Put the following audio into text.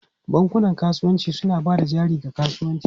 Bankunan kasuwanci suna ba da jari ga kasuwanci.